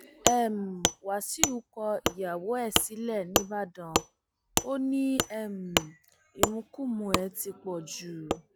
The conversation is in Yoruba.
um wàṣíù kọ ìyàwó ẹ sílẹ nìbàdàn ò ní um ìmukúmu ẹ ti pọ jù